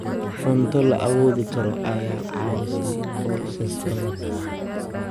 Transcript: Cunto la awoodi karo ayaa caawisa qoysas badan.